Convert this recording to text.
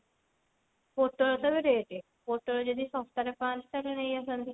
ପୋଟଳ ତ ଏବେ rate ପୋଟଳ ଯଦି ଶସ୍ତା ରେ ପାଆନ୍ତି ତାହେଲେ ନେଇ ଆସନ୍ତି।